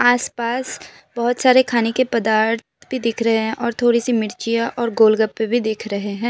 आस पास बहोत सारे खाने के पदार्थ भी दिख रहे हैं और थोड़ी सी मिर्चियां और गोल गप्पे भी दिख रहे हैं।